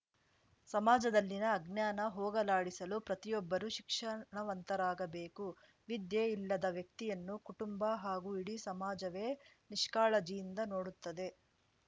ಸಮಾಜದಲ್ಲಿನ ಅಜ್ಞಾನ ಹೊಗಲಾಡಿಸಲು ಪ್ರತಿಯೊಬ್ಬರೂ ಶಿಕ್ಷಣವಂತರಾಗಬೇಕು ವಿದ್ಯೆ ಇಲ್ಲದ ವ್ಯಕ್ತಿಯನ್ನು ಕುಟುಂಬ ಹಾಗೂ ಇಡೀ ಸಮಾಜವೇ ನಿಷ್ಕಾಳಜಿಯಿಂದ ನೋಡುತ್ತದೆ